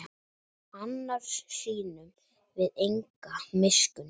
Annars sýnum við enga miskunn